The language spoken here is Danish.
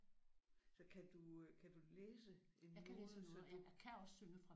Så kan du øh kan du læse en node nu?